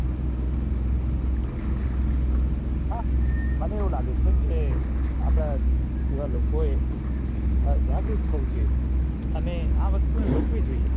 હા મને આવું લાગે છે કે આપડા જેવા લોકો એ જાગૃત થયું જોઈએ અને વસ્તુ ને રોકવી જોઈએ